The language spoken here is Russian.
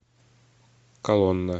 колонна